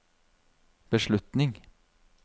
beslutning